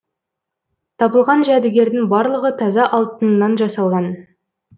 табылған жәдігердің барлығы таза алтыннан жасалған